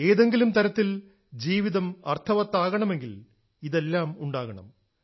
ഏതെങ്കിലും തരത്തിൽ ജീവിതം അർത്ഥവത്താകണമെങ്കിൽ ഇതെല്ലാം ഉണ്ടാകണം